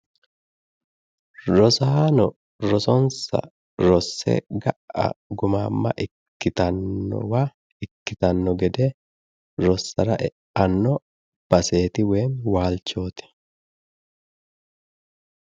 rosaano rosonsa rosse ga"a gumamma ikkitannowa ikkitanno gede rossara eanno baseeti woyim waalchooti.